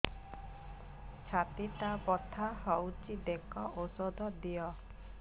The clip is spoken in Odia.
ଛାତି ଟା ବଥା ହଉଚି ଦେଖ ଔଷଧ ଦିଅ